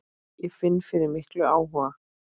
Ég finn fyrir miklum áhuga.